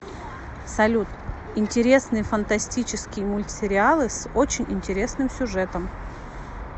салют интересные фантастический мультсериалы с очень интересным сюжетом